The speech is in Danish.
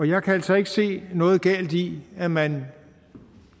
jeg kan altså ikke se noget galt i at man